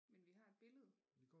Men vi har et billede